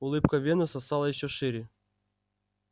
улыбка венуса стала ещё шире